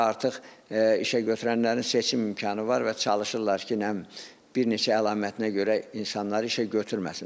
Orada artıq işə götürənlərin seçim imkanı var və çalışırlar ki, nə bilim, bir neçə əlamətinə görə insanları işə götürməsinlər.